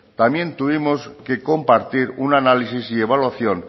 también tuvimos que compartir un análisis y evaluación